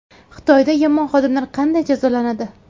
Xitoyda yomon xodimlar qanday jazolanadi?